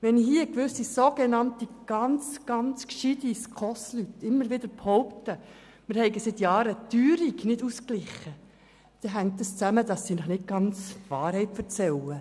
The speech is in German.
Wenn gewisse, sogenannt ganz gescheite SKOS-Leute immer wieder behaupten, wir hätten seit Jahren die Teuerung nicht ausgeglichen, sagen sie Ihnen nicht die ganze Wahrheit.